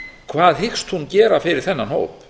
hvað hyggst hún gera fyrir þennan hóp